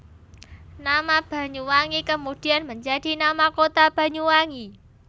Nama Banyuwangi kemudian menjadi nama kota Banyuwangi